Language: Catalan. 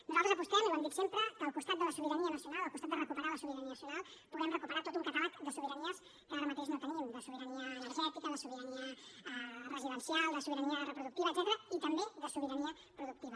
nosaltres apostem i ho hem dit sempre que al costat de la sobirania nacional al costat de recuperar la sobirania nacional puguem recuperar tot un catàleg de sobiranies que ara mateix no tenim de sobirania energètica de sobirania residencial de sobirania reproductiva etcètera i també de sobirania productiva